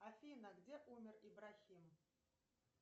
афина где умер ибрахим